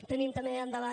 tenim també endavant